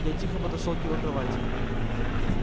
я тихо подошёл к его кровати